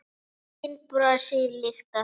Enginn brosir líkt og þú.